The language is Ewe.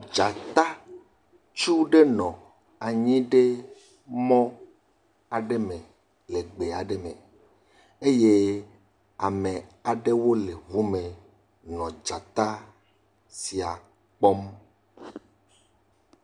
Dzata tsu aɖe nɔ anyi ɖe gbe aɖe me eye ame aɖewo le ŋu me nɔ dzata sia kpɔm.